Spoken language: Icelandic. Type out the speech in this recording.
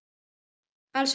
Alls ekki nóg.